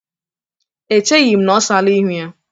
Echighi m na-ọsala ihu ya.